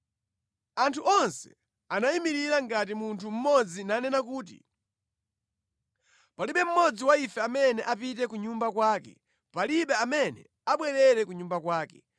Anthu onse anayimirira ngati munthu mmodzi nanena kuti, “Palibe mmodzi wa ife amene apite ku nyumba kwake. Palibe amene abwerere ku nyumba kwake.